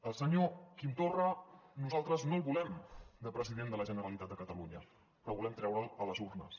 al senyor quim torra nosaltres no el volem de president de la generalitat de catalunya però volem treure’l a les urnes